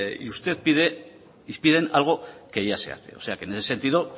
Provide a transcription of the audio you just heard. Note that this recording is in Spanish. y usted pide piden algo que ya se hace o sea que en ese sentido